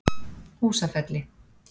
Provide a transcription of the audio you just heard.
Húsafelli